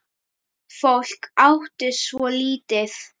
Fólk átti svo lítið.